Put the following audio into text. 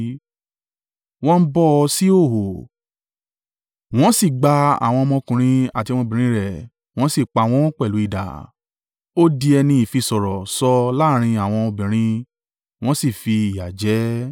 Wọ́n bọ́ ọ sí ìhòhò, wọ́n sì gba àwọn ọmọkùnrin àti ọmọbìnrin rẹ̀ wọn sì pa wọn pẹ̀lú idà. Ó di ẹni ìfisọ̀rọ̀ sọ láàrín àwọn obìnrin wọ́n sì fi ìyà jẹ ẹ́.